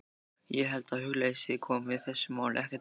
Ég held að hugleysi komi þessu máli ekkert við.